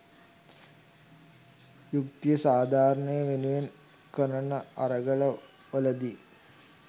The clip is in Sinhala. යුක්‌තිය සාධාරණය වෙනුවෙන් කරන අරගල වලදී